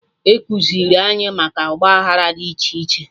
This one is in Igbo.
Ekuziri anyị maka Ọgba aghara dị iche iche